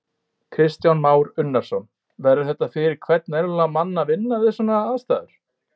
Kristján Már Unnarsson: Verður þetta fyrir hvern venjulegan mann að vinna við svona aðstæður?